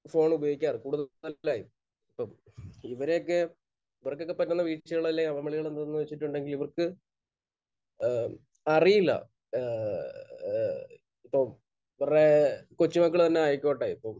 Phone ഉപയോഗിക്കാർ കൂടുതലും. അല്ലെ? അപ്പോൾ ഇവരെയൊക്കെ ഇവർക്കൊക്കെ പറ്റുന്ന വീഴ്ചകൾ അല്ലെങ്കിൽ അമളികൾ എന്താണെന്ന് വെച്ചിട്ടുണ്ടെങ്കിൽ ഇവർക്ക് ഏഹ് അറിയില്ല. ഏഹ്ഹ്ഹ്ഹ് ഇപ്പോൾ ഇവരുടെ കൊച്ചുമക്കൾ തന്നെ ആയിക്കോട്ടെ ഇപ്പോൾ